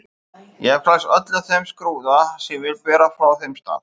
Ég hef klæðst öllum þeim skrúða sem ég vil bera frá þeim stað.